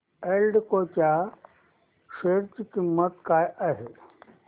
एल्डेको च्या शेअर ची किंमत काय आहे